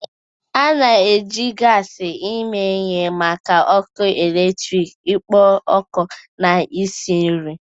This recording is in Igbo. A na-eji gas eme ihe maka ọkụ eletrik, ikpo ọkụ, na isi nri.